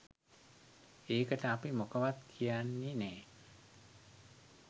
ඒකට අපි මොකවත් කියන්නෙ නෑ. .